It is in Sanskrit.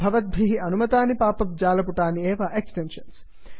भवद्भिः अनुमतानि पाप् अप् जालपुटानि एव एक्सेप्षन्स्